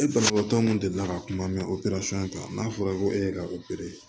E banabaatɔ min delila ka kuma opereli kan n'a fɔra ko e ka opere